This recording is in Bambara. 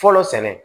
Fɔlɔ sɛnɛ